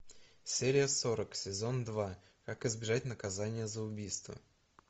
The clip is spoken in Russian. серия сорок сезон два как избежать наказания за убийство